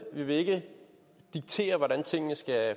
vi vil ikke diktere hvordan tingene skal